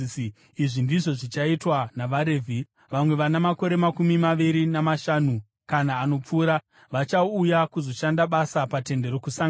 “Izvi ndizvo zvichaitwa navaRevhi: Vamwe vana makore makumi maviri namashanu kana anopfuura vachauya kuzoshanda basa paTende Rokusangana,